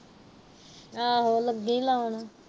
ਆਹੋ ਲੱਗੀ ਲਾਉਣ।